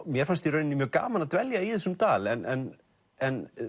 mér fannst í raun mjög gaman að dvelja í þessum dal en en